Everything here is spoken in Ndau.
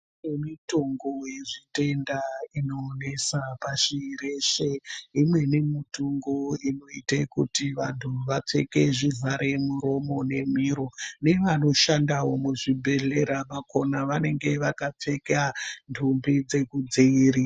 Kune mutongo yezvitenda inonesa pashi reshe. Imweni mitungo inoite kuti vantu vapfeke zvivhare miromo nemiro. Nevanoshandawo muzvibhedhlera vakona vanenge vakapfeka nhumbi dzekudziiri....